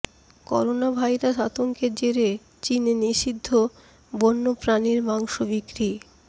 corona virus আতঙ্কের জেরে চিনে নিষিদ্ধ বন্য প্রাণীর মাংস বিক্রি